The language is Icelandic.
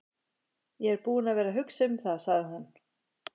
Ég er búin að vera að hugsa um það, sagði hún.